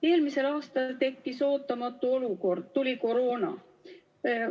Eelmisel aastal tekkis ootamatu olukord, tuli koroona.